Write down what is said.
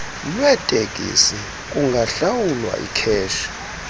lweeteksi kungahlawulwa ikheshi